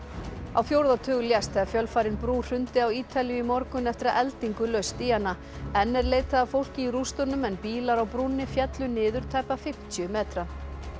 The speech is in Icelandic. á fjórða tug lést þegar fjölfarin brú hrundi á Ítalíu í morgun eftir að eldingu laust í hana enn er leitað að fólki í rústunum en bílar á brúnni féllu niður tæpa fimmtíu metra